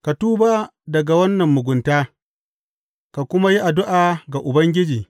Ka tuba daga wannan mugunta ka kuma yi addu’a ga Ubangiji.